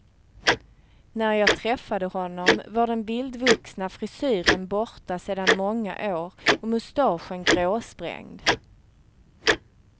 När jag träffade honom var den vildvuxna frisyren borta sedan många år och mustaschen gråsprängd.